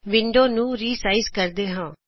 window ਨੂੰ resize ਕਰਦੇ ਹਾਂ